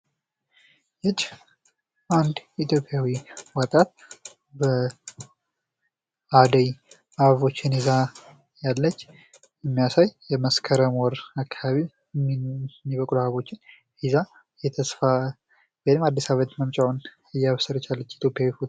ይች አንድ ኢትዮጵያዊት ወጣት በአደይ አበቦችን ይዛ ያለች የሚያሳይ የመስከረም ወር የሚበቅሉ አበቦችን ይዛ ወይም የተስፋ መምጫዉን እያበሰረች ያለች ኢትዮጵያዊት ነች።